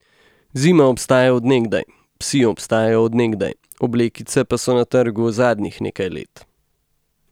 Zima obstaja od nekdaj, psi obstajajo od nekdaj, oblekice pa so na trgu zadnjih nekaj let.